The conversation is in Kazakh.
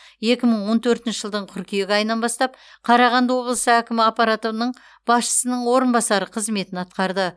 екі мың он төртінші жылдың қыркүйек айынан бастап қарағанды облысы әкімі аппаратының басшысының орынбасары қызметін атқарды